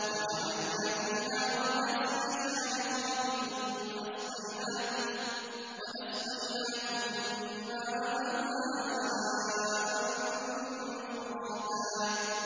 وَجَعَلْنَا فِيهَا رَوَاسِيَ شَامِخَاتٍ وَأَسْقَيْنَاكُم مَّاءً فُرَاتًا